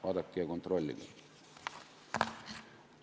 Vaadake ja kontrollige!